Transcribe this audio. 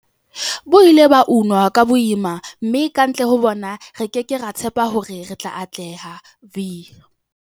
Bo ile ba unwa ka boima, mme kantle ho bona, re ke ke ra tshepa hore re tla atleha.